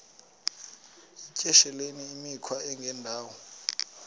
yityesheleni imikhwa engendawo